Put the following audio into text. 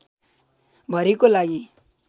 भरिको लागि